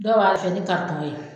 Dɔw b'a fɛn ni karitɔn ye